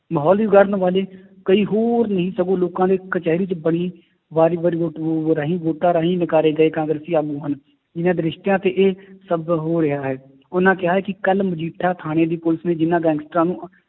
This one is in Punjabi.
ਮਾਹੌਲ ਵੀ ਵਿਗਾੜਨ ਵਾਲੇ ਕਈ ਹੋਰ ਨੀ ਸਗੋਂ ਲੋਕਾਂ ਦੇ ਕਚਿਹਰੀ 'ਚ ਬਣੀ ਵੋਟਾਂ ਰਾਹੀ ਨਕਾਰੇ ਗਏ ਕਾਂਗਰਸੀ ਆਗੂ ਹਨ, ਜਿੰਨਾ ਦਿਸ਼ਟਾਂ ਤੇ ਇਹ ਸਭ ਹੋ ਰਿਹਾ ਹੈ ਉਹਨਾਂ ਕਿਹਾ ਹੈ ਕਿ ਕੱਲ੍ਹ ਮਜੀਠਾ ਥਾਣੇ ਦੀ ਪੁਲਿਸ ਨੇ ਜਿੰਨਾਂ ਗੈਂਗਸਟਰਾਂ ਨੂੰ